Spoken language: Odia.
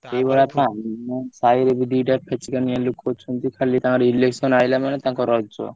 ଏଇ ଭଳିଆ ଥାନ୍ତି ଆମ ସାହିରେ ବି ଦିଟା ଫେକଚାମିଆ ଲୋକ ଅଛନ୍ତି ଖାଲି ତାଙ୍କର election ଆଇଲା ମାନେ ତାଙ୍କ ରଜ।